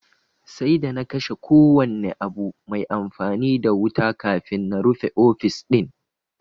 Sai d ana kashe kowane abu mai amfani da wuta kafin na rufe ofis din